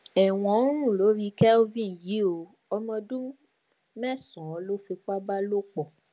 ẹwọn ń rùn lórí kelvin yìí o ọmọ ọdún mẹsànán ló fipá bá lò pọ